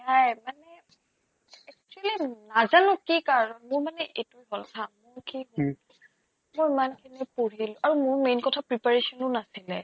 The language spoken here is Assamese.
এয়াই মানে actually নাজানো কি কাৰণ মোৰ মানে এটোয়ে goal হা মোৰ কি মই ইমানখিনি পঢ়িলো আৰু মোৰ main কথা preparation ও নাছিলে